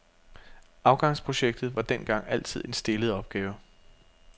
Afgangsprojektet var dengang altid en stillet opgave.